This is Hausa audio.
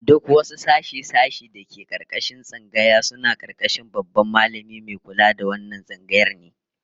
Duk wasu sashe-sashe da ke karkashin tsangaya suna karkashin Babban Mallami Mai kula da wannan tsangayar ne